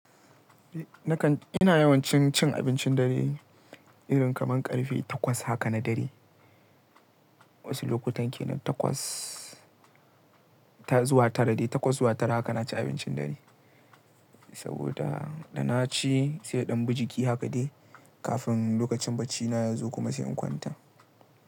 Nakan, ina yawan cin, cin abincin dare irin kamar ƙarfe takwas haka na dare. Wasu lokutan kenan takwas ta zuwa tara dai, takwas zuwa tara haka naci abincin dare. Saboda da naci sai ya ɗan bi jiki haka dai kafin lokacin baccina yazo kuma sai in kwanta.